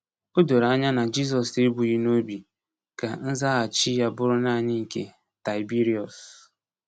O doro anya na Jizọs ebughị n'obi ka nzaghachi ya bụrụ naanị nke Taịbiriọs.